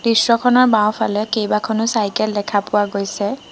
দৃশ্যখনৰ বাওঁফালে কেইবাখনো চাইকেল দেখা পোৱা গৈছে।